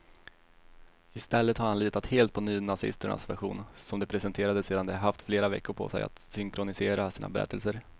I stället har han litat helt på nynazisternas version, som de presenterade sedan de haft flera veckor på sig att synkronisera sina berättelser.